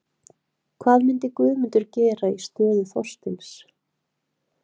Hvað myndi Guðmundur gera í stöðu Þorsteins?